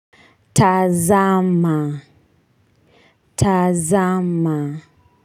Tazama tazama.